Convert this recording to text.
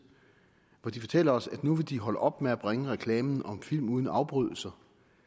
hvor de fortæller os at nu vil de holde op med at bringe reklamen om film uden afbrydelser